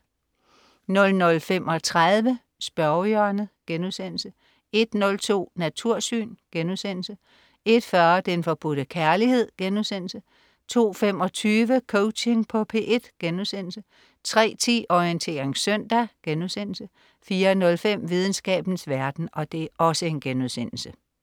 00.35 Spørgehjørnet* 01.02 Natursyn* 01.40 Den Forbudte Kærlighed* 02.25 Coaching på P1* 03.10 Orientering søndag* 04.05 Videnskabens verden*